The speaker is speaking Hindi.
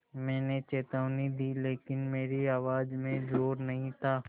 मैंने चेतावनी दी लेकिन मेरी आवाज़ में ज़ोर नहीं था